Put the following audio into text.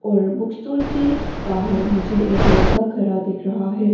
और book store के बाहर मुझे एक लड़का खड़ा दिख रहा है।